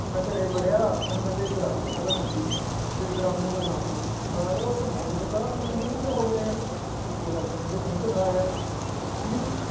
ਮੈਂ ਘਰੇ ਵੜਿਆ ਮੈਨੂੰ ਕਹਿੰਦੇ ਇੱਧਰ ਆ, ਮੈਂ ਕਿਹਾ ਹਾਂਜੀ ਕਹਿੰਦੇ ਇੱਧਰ ਆ ਮੂੰਹ ਦਿਖਾ ਆਪਣਾ ਮੈਂ ਕਿਹਾ ਯਾਰ ਮੂੰਹ ਦਿਖਾ ਮੈਂ ਕਿਹਾ ਇਹਨਾਂ ਨੂੰ ਕਿਆ ਹੋ ਗਿਆ ਯਾਰ, ਇੱਕੇ ਲੱਗਤੇ ਕਹਿੰਦੇ ਮੂੰਹ ਦਿਖਾ ਯਾਰ ਠੀਕ ਨੀ